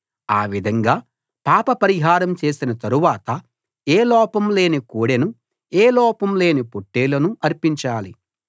ఆ విధంగా పాప పరిహారం చేసిన తరవాత ఏ లోపం లేని కోడెను ఏ లోపం లేని పొట్టేలును అర్పించాలి